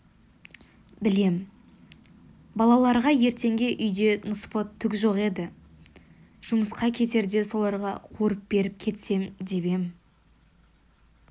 білем балаларға ертеңге үйде ныспы түк жоқ еді жұмысқа кетерде соларға қуырып беріп кетсем деп ем